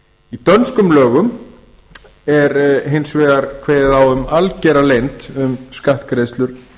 í dönskum lögum er hins vegar kveðið á um algera leynd um skattgreiðslur